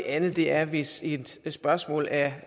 anden er hvis et spørgsmål er